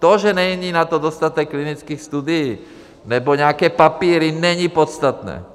To, že na to není dostatek klinických studií nebo nějaké papíry, není podstatné.